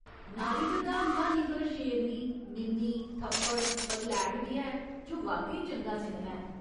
नारी प्रधान क्हानी पर शेरनी, मिमी, थप्पड़, पगलैट बी ऐ जो वाकई चंगा सिनेमा ऐ।